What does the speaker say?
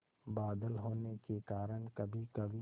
बादल होने के कारण कभीकभी